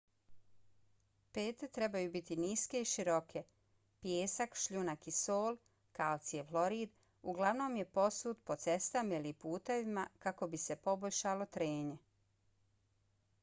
pete trebaju biti niske i široke. pijesak šljunak ili sol kalcijev hlorid uglavnom je posut po cestama ili putevima kako bi se poboljšalo trenje